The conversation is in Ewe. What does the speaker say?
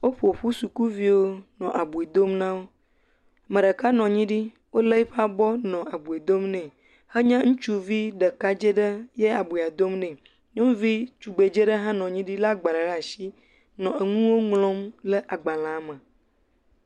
Wo ƒoƒu sukuviwo nɔ abui dom na wo, ame ɖeka nɔ anyi ɖi wolé eƒe abɔ le abui dom nɛ henye ŋutsuvi ɖekadze aɖe ye abui dom nɛ. Nyɔnuvi tugbedze aɖe hã nɔ anyi ɖi lé agbalẽ ɖe asi nɔ nu ŋlɔm ɖe agbalẽ me.